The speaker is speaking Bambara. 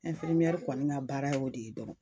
kɔni ka baara y'o de ye dɔrɔn.